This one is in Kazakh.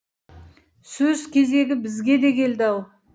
сөз кезегі бізге де келді ау